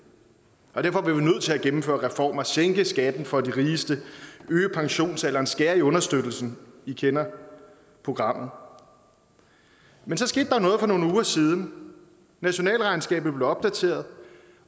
og derfor blev vi nødt til at gennemføre reformer sænke skatten for de rigeste øge pensionsalderen skære i understøttelsen i kender programmet men så skete der noget for nogle uger siden nationalregnskabet blev opdateret